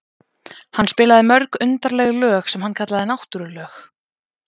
Hann spilaði mörg undarleg lög sem hann kallaði náttúrulög.